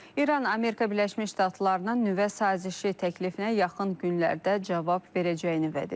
İran Amerika Birləşmiş Ştatlarının nüvə sazişi təklifinə yaxın günlərdə cavab verəcəyini vəd edib.